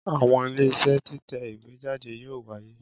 Àwọn Iléeṣẹ́ títẹ̀ ìwé jáde yóò wáyé